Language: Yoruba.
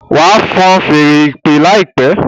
wá fọ́n Fèèrè ìpè láìpé!